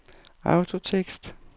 autotekst